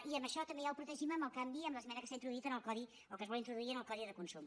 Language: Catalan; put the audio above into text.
i això també ja ho protegim amb el canvi amb l’esmena que s’ha introduït o que es vol introduir en el codi de consum